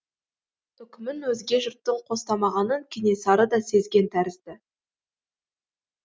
үкімін өзге жұрттың қостамағанын кенесары да сезген тәрізді